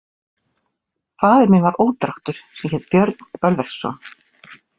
Faðir minn var ódráttur sem hét Björn Bölverksson.